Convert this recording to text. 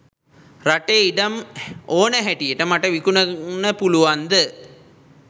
රටේ ඉඩම් ඕන හැටියට මට විකුණන්න පුළුවන්ද?